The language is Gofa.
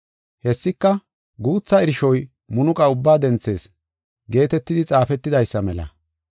Hessika, “Guutha irshoy munuqa ubbaa denthees” geetetidi xaafetidaysa mela.